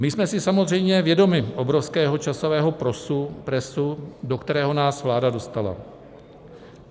My jsme si samozřejmě vědomi obrovského časového presu, do kterého nás vláda dostala.